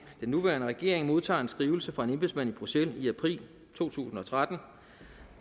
nuværende regering modtager en skrivelse fra en embedsmand i bruxelles i april to tusind og tretten